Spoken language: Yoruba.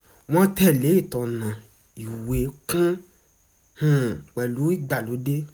wọ́n tẹ̀lé ìtọná ìwé kún un pẹ̀lú ìgbàlódé